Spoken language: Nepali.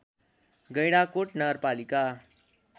गैंडाकोट नगरपालिका